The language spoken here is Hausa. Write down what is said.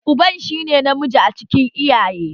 Uban shi ne namiji a cikin iyaye